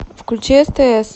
включи стс